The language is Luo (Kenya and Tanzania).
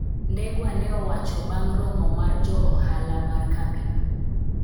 Ndegwa ne owacho bang' romo mar jo ohala mar kambino.